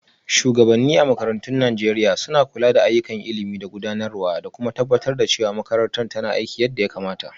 Shugabanni a makarantun Najeriya l suna kula da ayyukan ilimi da gudanarwa, da kuma tabbatar da cewa makarantar tana aiki yadda ya kamata.